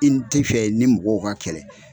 I n ti fɛ i ni mɔgɔw ka kɛlɛ